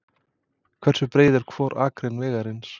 Hversu breið er hvor akrein vegarins?